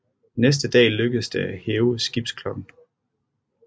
Næste dag lykkedes det at hæve skibsklokken